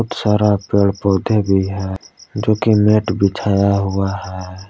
सारा पेड़ पौधे भी है जो कि नेट बिछाया हुआ है।